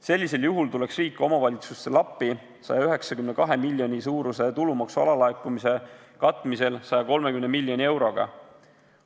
Sellisel juhul tuleks riik omavalitsustele appi 192 miljoni suuruse tulumaksu alalaekumise katmisel 130 miljoni euroga.